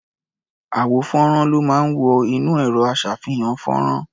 Àwo-fọ́nrán ló máa ń wọ inú ẹ̀rọ-aṣàfihàn-fọ́nrán.